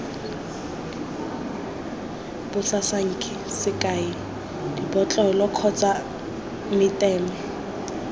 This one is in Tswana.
basasanki sekai dibotlolo kgotsa meteme